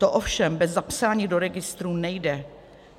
To ovšem bez zapsání do registru nejde.